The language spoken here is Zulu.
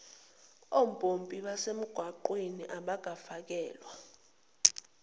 ompompi basemgwaqeni abafakelwa